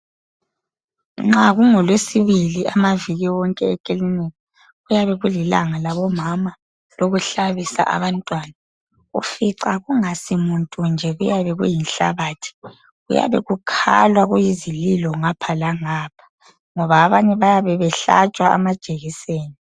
nxa kungo lwesibili amaviki wonke weklinika kuyabe kulilanga labo mama lokuhalbisa abantwana ufica kungasimuntu nje kuyabe kuyinhlabathi kuyabe kukhanya kuyisililo ngapha langapha ngabo abanye bayabebehlatshwa amajekiseni